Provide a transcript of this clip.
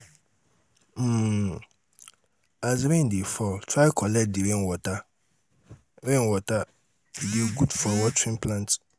um as rain de fall try collect the rain water rain water e de good for watering plants